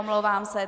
Omlouvám se.